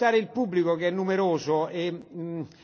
Herr Präsident, Frau Kommissarin!